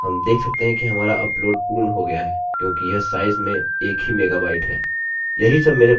हम देख सकते हैं कि हमारा अपलोड पूर्ण हो गया है क्योंकि यह साइज में एक ही मेगाबाइट है